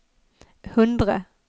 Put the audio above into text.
hundre